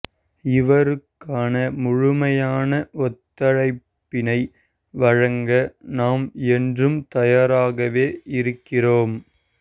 இவருக்கான முழுமையான ஒத்துழைப்பினை வழங்க நாம் என்றும் தயாராகவே இருக்கிறோம்